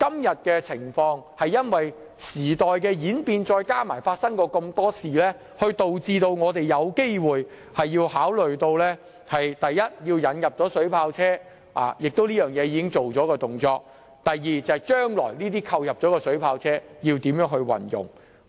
由於時代演變，加上過去種種事情，我們今天才有需要考慮以下事項：第一，引入水炮車，而此事其實已經完成；第二，將來如何運用這些已購入的水炮車。